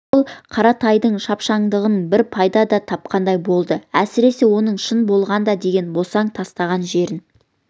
ол қаратайдың шапшаңдығынан бір пайда да тапқандай болды әсіресе оның шын болғанда деген босаң тастаған жерін